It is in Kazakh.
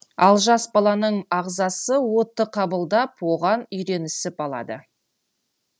ал жас баланың ағзасы уытты қабылдап оған үйренісіп алады